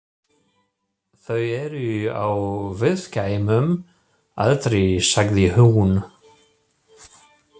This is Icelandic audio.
Þau eru á viðkvæmum aldri, sagði hún.